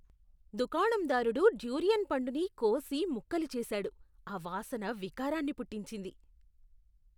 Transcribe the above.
దుకాణందారుడు durian పండుని కోసి ముక్కలు చేసాడు, ఆ వాసన వికారాన్ని పుట్టించింది.